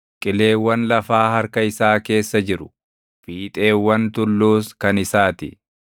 Qileewwan lafaa harka isaa keessa jiru; fiixeewwan tulluus kan isaa ti.